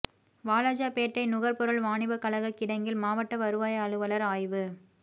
வாலாஜாப்பேட்டை நுகா்பொருள் வாணிபக் கழகக் கிடங்கில் மாவட்ட வருவாய் அலுவலா் ஆய்வு